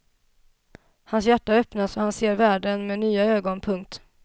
Hans hjärta öppnas och han ser världen med nya ögon. punkt